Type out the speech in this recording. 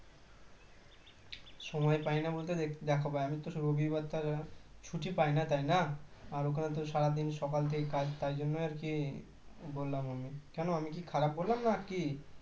সময় পাই না বলতে দেখো আমি তো রবিবার ছাড়া ছুটি পাই না তাই না আর ওখানে তো সারাদিন সকাল থেকে কাজ তার জন্য আর কি বললাম আমি কেন আমি কি খারাপ বললাম না কি